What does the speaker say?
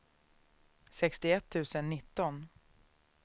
sextioett tusen nitton